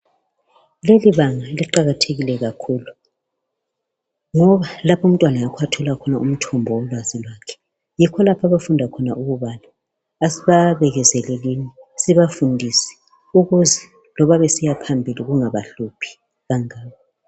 Lelibanga liqakathekile kakhulu ngoba lapha umntwana yikho lapho athola khona umthombo wolwazi lwakhe yikho lapho abafunda khona ukubala asibabekezelenini sibafundise ukuze loba besiya phambili kungabahluphi kangako.